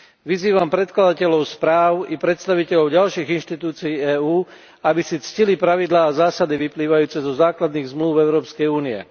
Vyzývam predkladateľov správ i predstaviteľov ďalších inštitúcií EÚ, aby si ctili pravidlá a zásady vyplývajúce zo základných zmlúv Európskej únie.